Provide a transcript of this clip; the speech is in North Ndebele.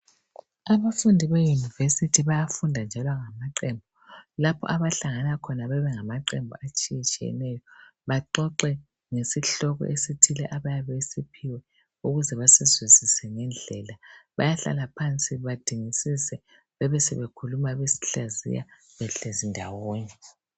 Abafundi bemayunivesithi bayafunda njalo ngamaqembu lapho abahlangana khona bayabe benganaqembu atshiyetshiyeneyo baxoxe ngesihloko esithile abayabe besiphiwe ukuze besizwisise ngendlela. Bayahlala phansi badingisise besebesihlaziya behleli ndawonye.